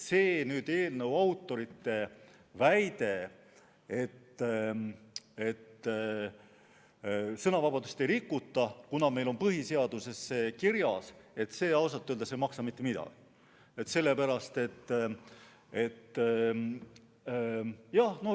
Nii et eelnõu autorite väide, et sõnavabadust ei rikuta, kuna meil on põhiseaduses see kirjas, ausalt öeldes ei maksa mitte midagi.